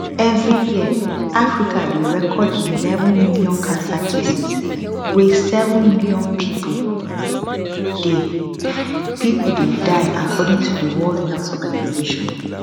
every year africa dey record eleven million cancer cases wey 7000000 pipo dey pipo dey die according to di world health organization